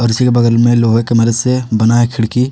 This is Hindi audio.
और उसी के बगल में लोहे के मदद से बना है खिड़की।